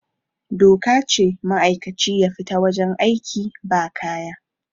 doka ce ma'aikaci ya fita wajen aiki ba kaya